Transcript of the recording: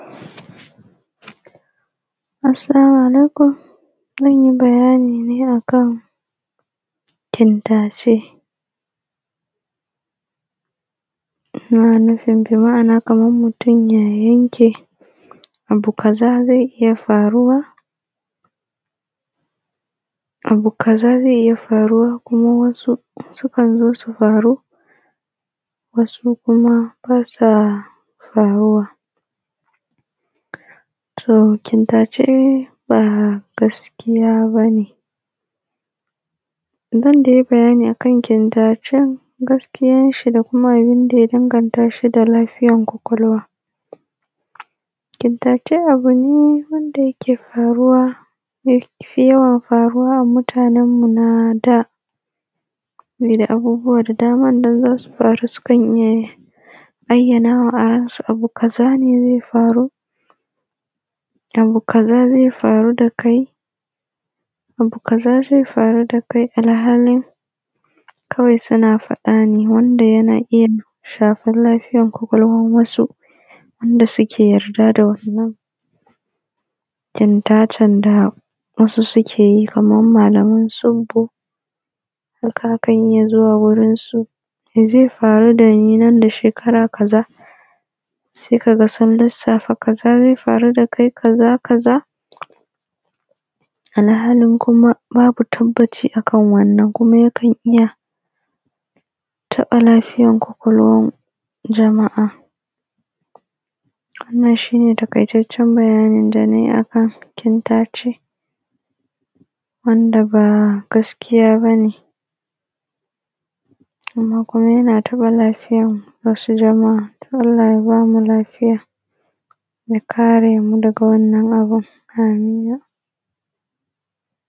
Assalamu alaikum zan yi bayani ne a kan kintace ana nufin bi ma'ana kaman mutum ya yanke abu kaza zai iya faruwa, abu kasa zai iya faruwa kuma wasu su kan zo su faru wasu kuma ba sa faruwa to kintace ba gaskiya ba ne zan dai yi bayani a kan kintacen gaskiyan shi da kuma abun da ya danganta shi da lafiya ƙwaƙwalwa kintace abu ne wanda yake faruwa ya fi yawan faruwa a mutanan mu na da me da abubbuwa da daman nan za su faru sukan iya yi aiyanawa a ran su abu kaza ne zai faru abu kaza zai faru da kai abu kaza zai faru da kai alhalin kawai suna faɗa ne wanda yana iya shafan lafiyan ƙwaƙwalwan wasu da suke yarda da wannan kintatan da wasu suke yi kaman malaman tsibbu hakan a ka yi a zo gurin su mai zai faru nan da shekara kaza sai ka ga sun lissafa kaza zai faru da kai kaza kaza alhalin kuma babu tabbacin a kan wannan kuma yakan iya taɓa lafiyar ƙwaƙwalwan jama'a wannan shi ne taƙaitaccan bayani da na yi a kan kintace wanda ba gaskiya ba ne amma yana taɓa lafiyar wasu jama'a allah ya bamu lafiya ya kare mu daga wannan abun amin.